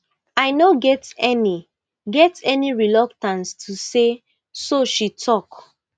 i no get any get any reluctance to say so she tok